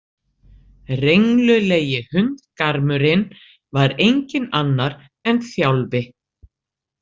Renglulegi hundgarmurinn var enginn annar en Þjálfi.